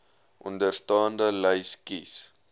onderstaande lys kies